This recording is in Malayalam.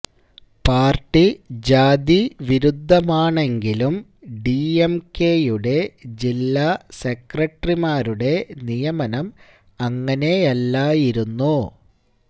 പാര്ട്ടി ജാതി വിരുദ്ധമാണെങ്കിലും ഡിഎംകെയുടെ ജില്ല സെക്രട്ടറിമാരുടെ നിയമനം അങ്ങനെയല്ലായിരുന്നു